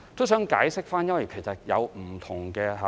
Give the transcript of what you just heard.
我想解釋一下，因為當中有不同的考慮。